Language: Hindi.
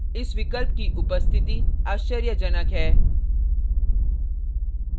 इस विकल्प की उपस्थिति आश्चर्यजनक है